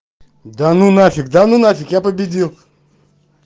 да ну нафиг да ну нафиг я победил